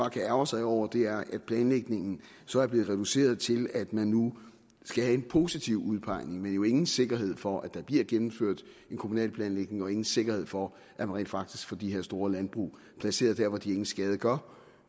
kan ærgre sig over er at planlægningen så er blevet reduceret til at man nu skal have en positiv udpegning men jo ingen sikkerhed for at der bliver gennemført en kommunal planlægning og ingen sikkerhed for at man rent faktisk får de her store landbrug placeret der hvor de ingen skade gør